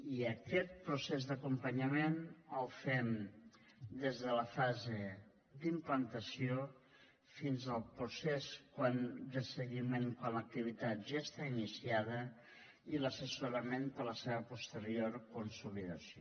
i aquest procés d’acompanyament el fem des de la fase d’implantació fins al procés de seguiment quan l’activitat ja està iniciada i l’assessorament per a la seva posterior consolidació